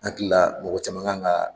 Ni hakilila, mɔgɔ caman kan ka